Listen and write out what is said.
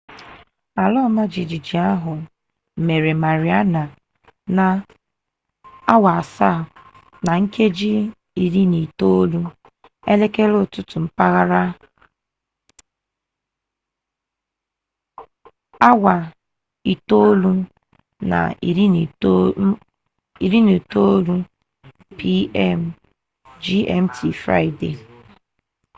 ala ọma jijiji ahụ mere mariana na 07:19 elekere ụtụtụ mpaghara 09:19 p.m. gmt friday